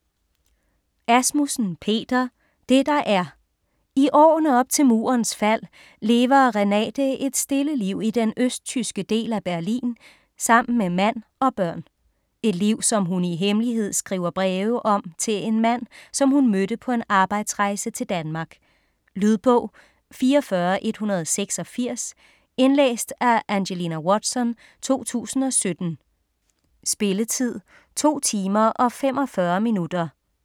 Asmussen, Peter: Det der er I årene op til murens fald lever Renate et stille liv i den østtyske del af Berlin sammen med mand og børn. Et liv som hun i hemmelighed skriver breve om til en mand, som hun mødte på en arbejdsrejse til Danmark. Lydbog 44186 Indlæst af Angelina Watson, 2017. Spilletid: 2 timer, 45 minutter.